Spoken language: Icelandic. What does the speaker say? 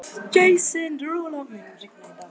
Jason, mun rigna í dag?